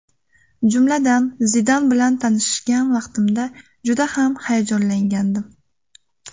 Jumladan, Zidan bilan tanishgan vaqtimda juda ham hayajonlangandim.